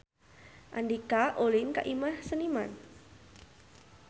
Andika ulin ka Imah Seniman